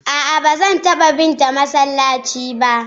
a'a bazan taba bi ta masallaci ba